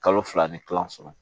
Kalo fila ni kila sɔrɔ